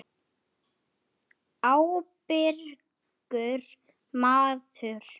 Ábyrgur maður.